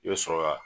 I bɛ sɔrɔ ka